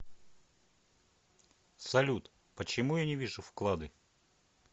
салют почему я не вижу вклады